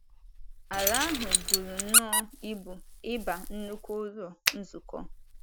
Ala ahụ buru nnọọ ibu ịba nnukwu Ụlọ Nzukọ.